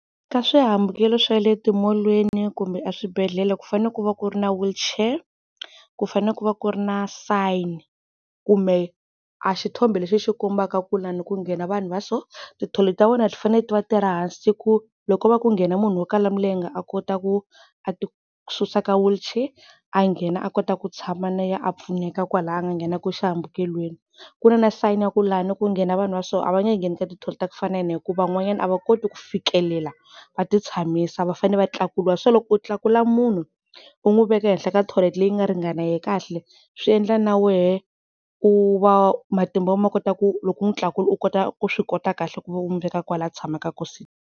Ka swihambukelo swa le timolweni kumbe a swibedhlele ku fanele ku va ku ri na wheelchair ku fanele ku va ku ri na sign, kumbe a xithombe leswi xi kombaka ku lani ku nghena vanhu va so, ti-toilet-e ta vona ti fanele ti va ti ri hansi ku loko ko nghena munhu wo kala milenge a kota ku a ti susa ka wheelchair a nghena a kota ku tshama na yena a pfuneka kwalaya a nga nghena kona xihambukelweni. Ku na na sayini ya ku laha ku nghena vanhu va so a va nge ngheni ka ti toilet-e ta ku fana na hikuva van'wanyana a va koti ku fikelela va ti tshamisa va fane va tlakuriwa, so loko u tlakula munhu u n'wi veka ehenhla ka tholete leyi nga ringana yena kahle swi endla na wehe u va matimba ya wena ma kota ku loko n'wi tlakula u kota ku swi kota kahle ku n'wi veka kwala tshamaka kona sitini.